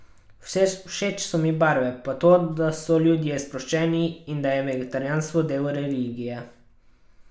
Všeč so mi barve, pa to, da so ljudje sproščeni in da je vegetarijanstvo del religije.